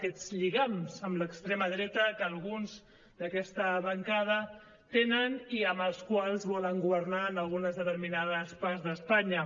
aquests lligams amb l’extrema dreta que alguns d’aquesta bancada tenen i amb els quals volen governar en algunes determinades parts d’espanya